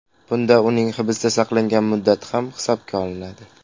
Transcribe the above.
Bunda uning hibsda saqlangan muddati ham hisobga olinadi.